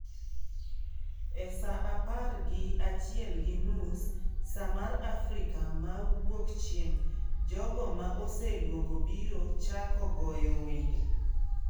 E saa apar gi achiel gi nus(Saa mar Afrika ma Wuokchieng’) jogo ma oseluongo biro chako goyo wende.